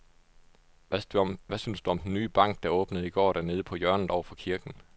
Hvad synes du om den nye bank, der åbnede i går dernede på hjørnet over for kirken?